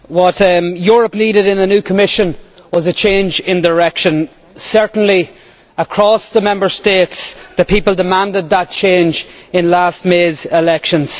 Mr President, what Europe needed in a new Commission was a change in direction certainly across the Member States the people demanded that change in last May's elections.